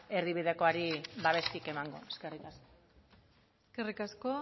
erdibidekoari babesik emango eskerrik asko eskerrik asko